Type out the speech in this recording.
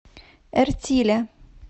эртиля